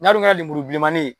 ka lemuru bilenmani